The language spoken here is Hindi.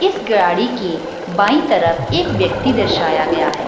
इस गाड़ी की बायीं तरफ एक व्यक्ति दर्शया गया है।